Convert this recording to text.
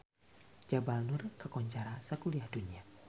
Jabal Nur kakoncara sakuliah dunya